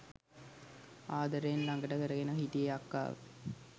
ආදරයෙන් ළඟට කරගෙන හිටියේ අක්කාව.